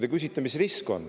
Te küsite, mis on risk.